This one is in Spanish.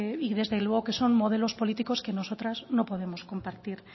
y desde luego que son modelos políticos que nosotras no podemos compartir